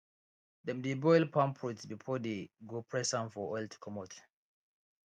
dem dey boil palm fruits before dey go press am for oil to comot